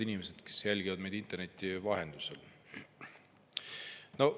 Head inimesed, kes jälgivad meid interneti vahendusel!